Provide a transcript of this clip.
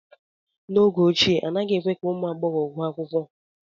n’oge ochie, anaghị èkwé ka ụmụ agbọghọ gụọ akwụkwọ